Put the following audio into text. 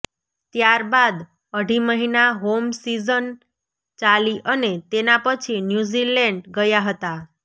ત્યારબાદ અઢી મહિના હોમ સીઝન ચાલી અને તેના પછી ન્યૂઝીલેન્ડ ગયા હતા